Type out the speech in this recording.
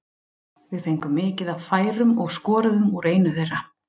Við fengum mikið af færum og skoruðum úr einu þeirra.